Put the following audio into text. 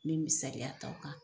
Me misaliya ta o kan